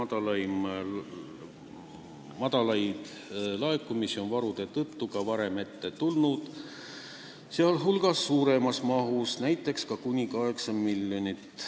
Väiksemaid laekumisi on varude tõttu ka varem ette tulnud, seejuures veelgi suuremas mahus, näiteks kuni 8 miljonit.